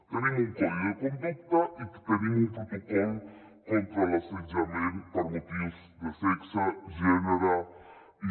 tenim un codi de conducta i tenim un protocol contra l’assetjament per motius de sexe gènere i